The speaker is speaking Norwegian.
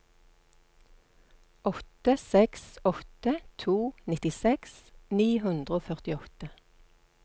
åtte seks åtte to nittiseks ni hundre og førtiåtte